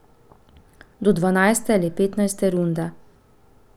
Do dvanajste ali petnajste runde.